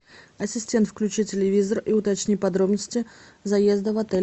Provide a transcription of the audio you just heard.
ассистент включи телевизор и уточни подробности заезда в отель